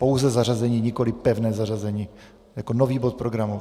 Pouze zařazení, nikoliv pevné zařazení, jako nový bod programu.